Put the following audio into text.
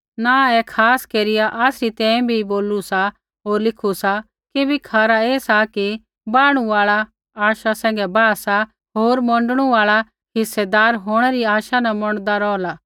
नाँह ऐ खास केरिया आसरी तैंईंयैं भी बोलू सा होर लिखु सा किबैकि खरा ऐ सा कि बाह्णु आल़ा आशा सैंघै बाहा सा होर मोंडणु आल़ा हिस्सेदार होंणै री आशा न मोंडदा रौहला